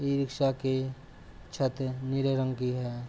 इ रिक्शा के छत नीले रंग की है।